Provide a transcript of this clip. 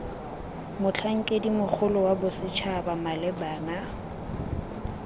motlhankedi mogolo wa bosetšhaba malebana